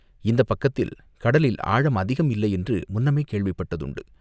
இந்தப் பக்கத்தில் கடலில் ஆழம் அதிகம் இல்லையென்று முன்னமே கேள்விப்பட்டதுண்டு.